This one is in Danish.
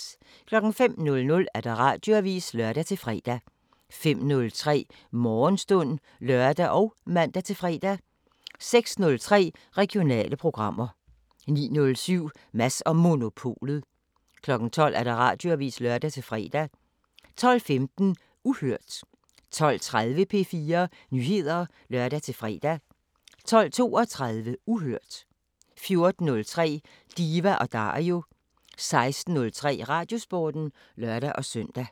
05:00: Radioavisen (lør-fre) 05:03: Morgenstund (lør og man-fre) 06:03: Regionale programmer 09:07: Mads & Monopolet 12:00: Radioavisen (lør-fre) 12:15: Uhørt 12:30: P4 Nyheder (lør-fre) 12:32: Uhørt 14:03: Diva & Dario 16:03: Radiosporten (lør-søn)